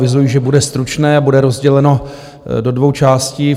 Avizuji, že bude stručné a bude rozděleno do dvou částí.